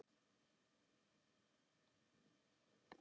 Heiðar: Hvers vegna telurðu það?